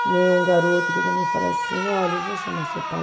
Que nem um garoto que eu também falei assim, olha, eu vou chamar seu pai.